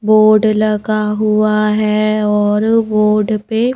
board लगा हुआ हैं और बोर्ड पे--